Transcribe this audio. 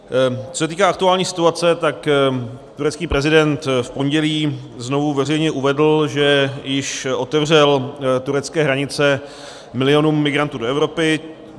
Co se týká aktuální situace, tak turecký prezident v pondělí znovu veřejně uvedl, že již otevřel turecké hranice milionům migrantů do Evropy.